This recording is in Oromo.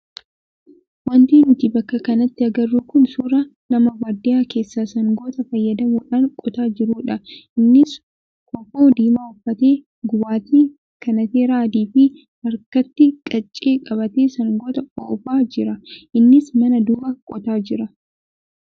Wanti nuti bakka kanatti agarru kun suuraa nama baadiyyaa keessaa sangoota fayyadamuudhaan qotaa jiruudha. Innis kofoo diimaa uffatee gubbaatti kanateeraa adii fi harkatti qaccee qabatee sangoota oofaa jira. Innis mana duuba qotaa jira.